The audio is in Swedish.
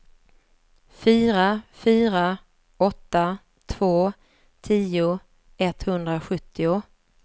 fyra fyra åtta två tio etthundrasjuttio